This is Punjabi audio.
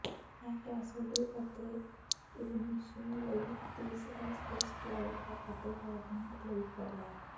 ਇਹ ਕੈਸੀਡੀ ਅਤੇ ਇਵਨੀਸ਼ਿਨ ਲਈ ਤੀਸਰਾ ਸਪੇਸਫਲਾਈਟ ਹੈ ਅਤੇ ਵੈਗਨਰ ਲਈ ਪਹਿਲਾ